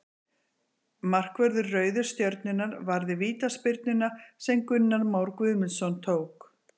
Markvörður Rauðu stjörnunnar varði vítaspyrnuna sem Gunnar Már Guðmundsson tók.